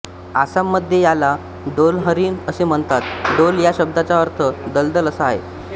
आसाम मध्ये याला डोलहरीण असे म्हणतात डोल या शब्दाचा अर्थ दलदल असा आहे